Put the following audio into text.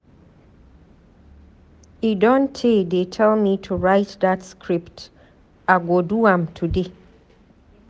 E don tey dey tell me to write dat script. I go do am today.